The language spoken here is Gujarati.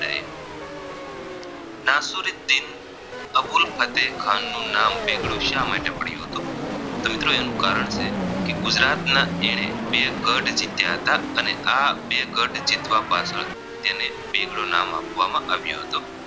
દિન અબુલ ફતેહ ખાન નું નામ બેગડો શા માટે પડ્યું હતું તો મિત્રો એનું કારણ છે કે ગુજરાતના એણે બે ગઢ જીત્યા હતા અને આ બે ગઢ જીતવા પાછળ તેને બેગડો નામ આપવામાં આવ્યું હતું